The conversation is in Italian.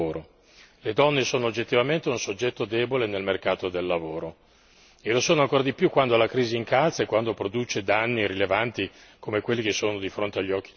Le donne sono oggettivamente un soggetto debole nel mercato del lavoro e lo sono ancora di più quando la crisi incalza e quando produce danni rilevanti, come quelli che sono di fronte agli occhi di tutti.